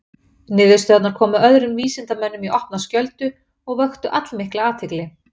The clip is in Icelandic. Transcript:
Niðurstöðurnar komu öðrum vísindamönnum í opna skjöldu og vöktu allmikla athygli.